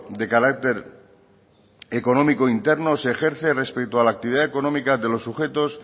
de carácter económico interno se ejerce respecto a la actividad económica de los sujetos